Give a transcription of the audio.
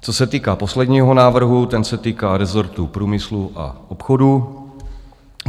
Co se týká posledního návrhu, ten se týká rezortu průmyslu a obchodu.